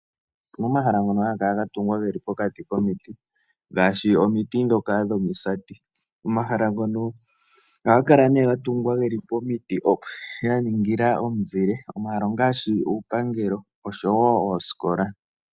Omahala ngoka haga kala ga tungwa ge li pokati komiti ngaashi omiti dhoka dhomisati. Omahala ngono ohaga kala ga tungwa ge li pomiti sha ningila omizile. Omahala ongaashi iipangelo noshowo oosikola.